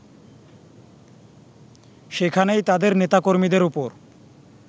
সেখানেই তাদের নেতাকর্মীদের ওপর